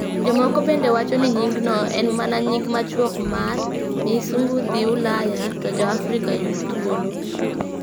Jomoko bende wacho ni nyingno en mana nying machuok mar: Miisungu dhi Ulaya, to Ja-afrika Yud Thuolo.